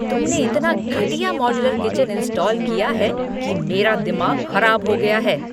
तुमने इतना घटिया मॉड्यूलर किचन इंस्टॉल किया है कि मेरा दिमाग खराब हो गया है।